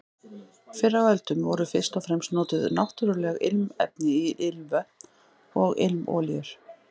Fyrr á öldum voru fyrst og fremst notuð náttúruleg ilmefni í ilmvötn og ilmolíur.